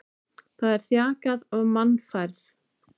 Það er þjakað af mannfæð.